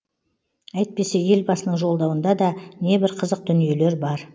әйтпесе елбасының жолдауында да небір қызық дүниелер бар